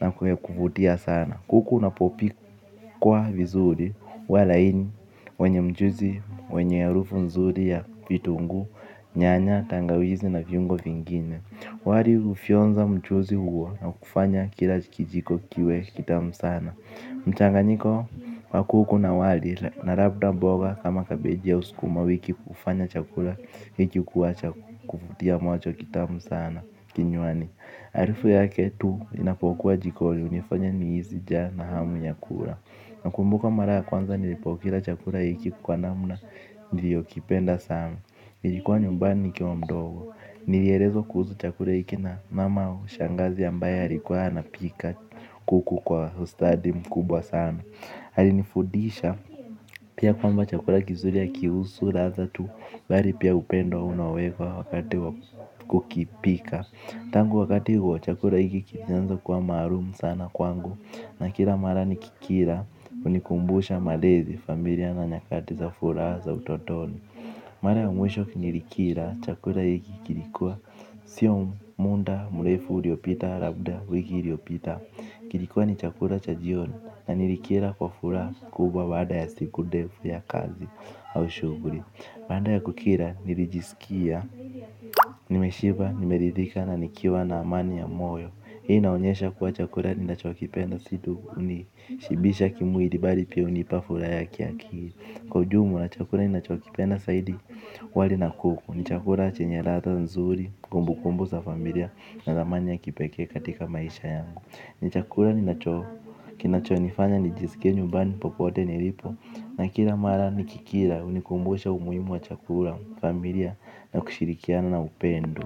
na kuvutia sana. Kuku unapopikwa vizuri huwa laini wenye mjuzi, wenye ya harufu mzuri ya vitungu, nyanya, tangawizi na viungo vingine. Wali ufionza mjuzi huo na kufanya kila kijiko kiwe kitamu sana. Mchanganiko kwa kuku na wali na labda mboga kama kabeja au skuma wiki hufanya chakula hiki kuwa cha kuvutia macho kitamu sana kinywani harufu yake tu inapokua jikoni unifanya nihisi njaa na hamu ya kula. Nakumbuka mara ya kwanza nilipokila chakula hiki kwa namna nilio kipenda sana. Nilikuwa nyumbani nikiwa mdogo. Nilielezwa kuhusu chakula hiki na mama au shangazi ambaye alikuwa anapika kuku kwa ustadi mkubwa sana alifudisha pia kwamba chakula kizuri hakiusu ladha tu bali pia upendo unawekwa wakati kukipika. Tangu wakati huo chakula hiki kilianza kuwa maalum sana kwangu na kila mara nikikila unikumbusha malezi familia na nyakati za furaha za utotoni. Mara ya mwisho nilikila chakula hiki kilikuwa sio muda mrefu uliopita labda wiki uliopita. Kilikuwa ni chakula cha jioni na nilikila kwa furaha kubwa baada ya siku ndefu ya kazi au shuguli baada ya kukila nilijiskia, nimeshiba, nimeridhika na nikiwa na amani ya moyo. Hii inaonyesha kuwa chakula ni nachokipenda si tu unishibisha kimwili bali pia unipa furaha ya kiakili. Kwa ujumla chakula ninachokipenda zaidi wali na kuku. Ni chakula chenye ladha nzuri, kumbu kumbu za familia na ramani ya kipeke katika maisha yangu. Ni chakula kinachonifanya nijisike nyumbani popote nilipo na kila mara nikikila unikumbusha umuimu wa chakula, familia na kushirikiana na upendo.